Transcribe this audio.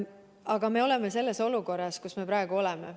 Aga me oleme selles olukorras, kus me praegu oleme.